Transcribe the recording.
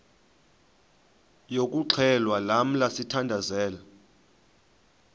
yokuxhelwa lamla sithandazel